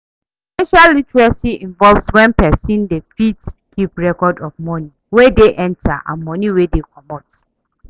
Financial literacy involve when person dey fit keep record of money wey dey enter and money wey dey comot